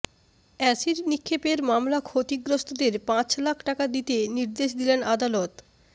acid নিক্ষেপের মামলা ক্ষতিগ্রস্তদের পাঁচ লাখ টাকা দিতে নির্দেশ দিলেন আদালত